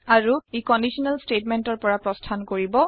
আৰু ই কণ্ডিশ্যনেল statementৰ পৰা প্ৰস্থান কৰিব